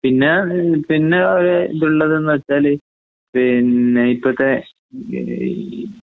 പിന്നെഹ് പിന്നെയൊര് ഇതുള്ളതന്ന് വെച്ചാല് പിന്നെ ഇപ്പത്തെ